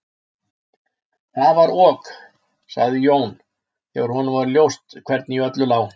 Það var ok, sagði Jón, þegar honum var ljóst hvernig í öllu lá.